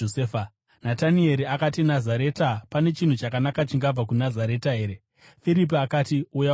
Natanieri akati, “Nazareta! Pane chinhu chakanaka chingabva kuNazareta here?” Firipi akati, “Uya uone.”